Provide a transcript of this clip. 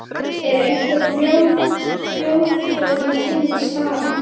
Er einhver þjóðtrú tengd stara?